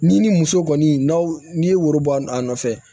N'i ni muso kɔni n'a n'i ye woro bɔ a nɔfɛ